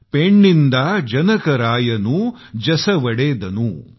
पैन्निदा जनकरायनु जसुवलीदनू